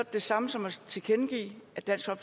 det samme som at tilkendegive at dansk